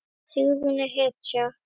Sigrún er hetja!